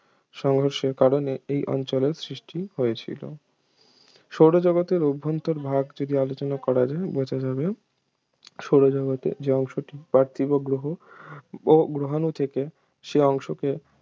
সংঘর্ষের কারণে এই অঞ্চলের সৃষ্টি হয়েছিল সৌরজগতের অভ্যন্তরভাগ ভাগ থেকে আলোচনা করা যায় বাঁচা যাবে সৌরজগতের যে অংশটিতে পার্থিব গ্রহ ও গ্রহাণু থেকে সে অংশকে